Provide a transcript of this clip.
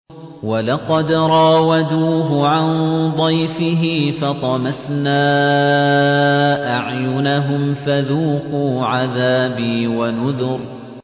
وَلَقَدْ رَاوَدُوهُ عَن ضَيْفِهِ فَطَمَسْنَا أَعْيُنَهُمْ فَذُوقُوا عَذَابِي وَنُذُرِ